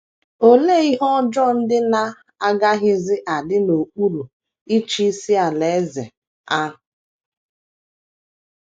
Olee ihe ọjọọ ndị na - agaghịzi adị n’okpuru ịchịisi Alaeze ahụ?